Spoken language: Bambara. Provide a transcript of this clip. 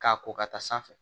K'a ko ka taa sanfɛ